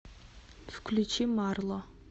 включи марло